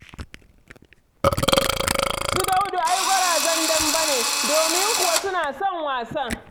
Su Daudu ai gwarazan dambe ne, domin kuwa suna son wasan.